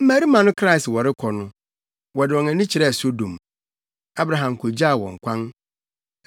Mmarima no kraa sɛ wɔrekɔ no, wɔde wɔn ani kyerɛɛ Sodom. Abraham kogyaa wɔn kwan.